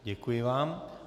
Děkuji vám.